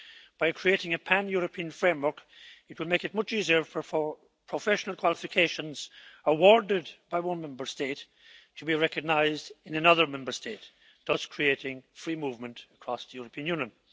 By creating a pan European framework, it will make it much easier for professional qualifications awarded by one Member State to be recognised in another Member State, thus creating free movement across the European Union.